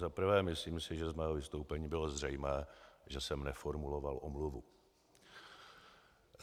Za prvé si myslím, že z mého vystoupení bylo zřejmé, že jsem neformuloval omluvu.